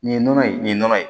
Nin ye nɔnɔ ye nin ye nɔnɔ ye